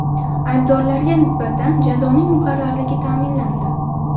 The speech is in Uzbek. Aybdorlarga nisbatan jazoning muqarrarligi ta’minlandi.